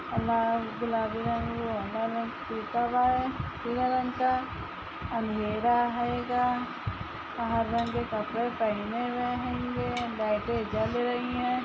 लाल गुलाबी रंग पीले रंग का अँधेरा हैगा। हर रंग के कपडे पहने हुए हेंगे। लाइटे जल रही है।